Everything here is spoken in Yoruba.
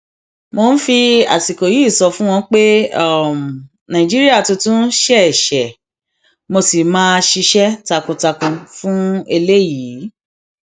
mo ń fi àsìkò yìí sọ fún wọn pé nàìjíríà tuntun ṣeé ṣe mo sì máa ṣiṣẹ takuntakun fún eléyìí